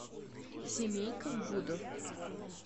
семейка гудов